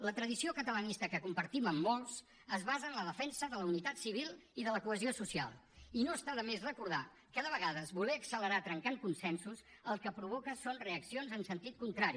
la tradició catalanista que compartim amb molts es basa en la defensa de la unitat civil i de la cohesió social i no està de més recordar que de vegades voler accelerar trencant consensos el que provoca són reaccions en sentit contrari